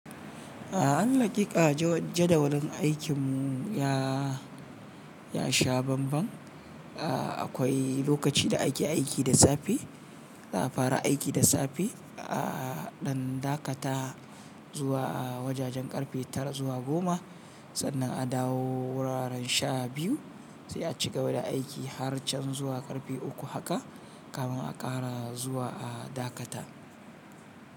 A ay lakika jadawalin aikinmu ya, ya sha banban. Ah akwai lokaci da ake aiki da safe, a fara aiki da safe a ɗan dakata zuwa a wajajen karfe tara zuwa goma. Sannan a dawo wuraren sha biyu sai a cigaba da aiki har can zuwa karfe uku haka, kafin a ƙara zuwa a dakata.